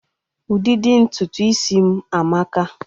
Ụdịdị ntutu isi m amaka